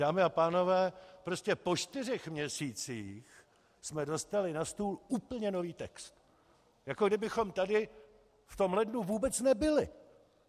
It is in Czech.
Dámy a pánové, prostě po čtyřech měsících jsme dostali na stůl úplně nový text, jako kdybychom tady v tom lednu vůbec nebyli!